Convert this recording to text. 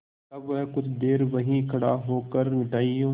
तब वह कुछ देर वहीं खड़े होकर मिठाइयों